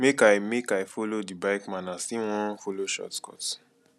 make i make i folo di bike man as im wan folo shortcut